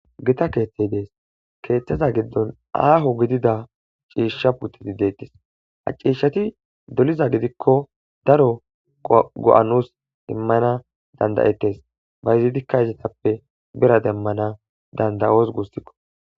gita keeththey dees keeththeza giddon aaho gidida ciishsha puttiti dettis ha ciishshati doliza gidikko daro go'a nus immana danda'ettes bayizidikka izetappe bira demmana danda'oos gusikko